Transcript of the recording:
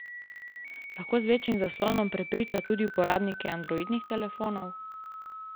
Lahko z večjim zaslonom prepriča tudi uporabnike androidnih telefonov?